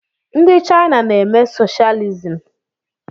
Ndi Chaina na-eme socialism.